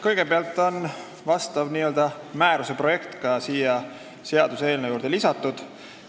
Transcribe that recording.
Kõigepealt, vastav määruse projekt on seaduseelnõu juurde lisatud.